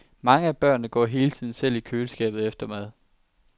Mange af børnene går hele tiden selv i køleskabet efter mad.